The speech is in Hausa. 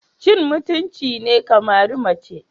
Cin mutunci ne ka mari mace.